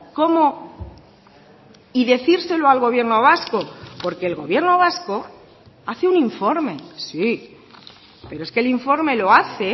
cómo y decírselo al gobierno vasco porque el gobierno vasco hace un informe sí pero es que el informe lo hace